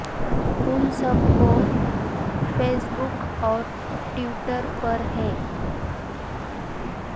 ان سب کو Facebook اور ٹویٹر پر ہے